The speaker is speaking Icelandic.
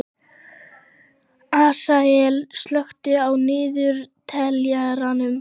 Asael, slökktu á niðurteljaranum.